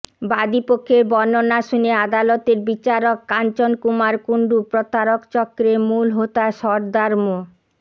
বাদী পক্ষের বর্ণনা শুনে আদালতের বিচারক কাঞ্চন কুমার কুন্ডু প্রতারক চক্রের মূল হোতা সরদার মো